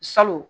Salon